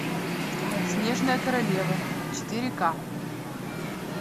снежная королева четыре ка